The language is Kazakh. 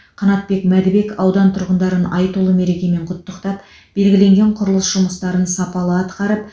қанатбек мәдібек аудан тұрғындарын айтулы мерекемен құттықтап белгіленген құрылыс жұмыстарын сапалы атқарып